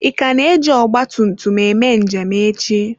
Ị ka na-eji ọgba tum tum eme njem echi?